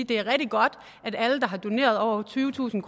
det er rigtig godt at alle der har doneret over tyvetusind